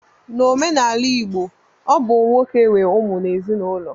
N'omenala igbo, ọ bụ nwoke nwe ụmụ n'ezinaụlọ